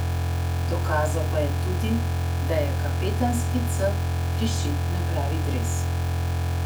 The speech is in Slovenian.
Dokazal pa je tudi, da je kapetanski C prišit na pravi dres.